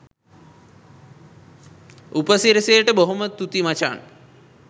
උපසිරැසියට බොහොම තුති මචන්